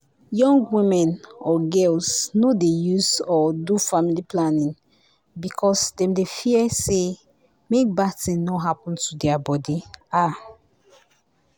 young women or girls no dey use or do family planning because dem dey fear say make bad thing no happen to their body. ahh